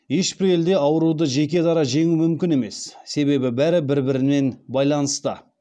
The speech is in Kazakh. ешбір елде ауруды жеке дара жеңу мүмкін емес себебі бәрі бір бірінен байланысты